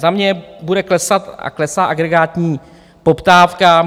Za mě bude klesat a klesá agregátní poptávka.